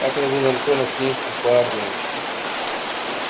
как это было нарисовано в книжках про армию